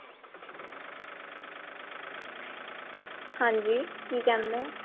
ਹਾਂਜੀ ਕਿ ਕਹਿੰਦੇ ਹੋ